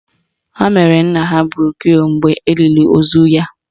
Ha mere nna ha broshu mgbe olili ozu ya